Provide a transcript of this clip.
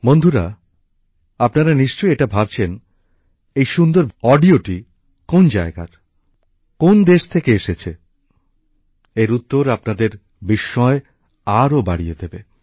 বন্ধুরা আপনারা নিশ্চয়ই এটা ভাবছেন এই সুন্দর ভিডিওটি কোন জায়গার কোন দেশ থেকে এসেছে এর উত্তর আপনাদের বিস্ময় আরো বাড়িয়ে দেবে